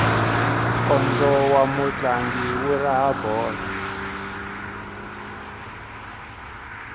nkondzo wa mutlangi wu raha bolo